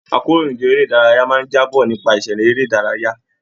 Àkòróyinjọ́ eré ìdárayá máa n jaábọ̀ nípa ìṣẹlẹ eré ìdárayá.